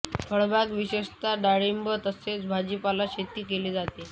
फळबाग विशेषतः डाळींब तसेच भाजीपाला शेती केली जाते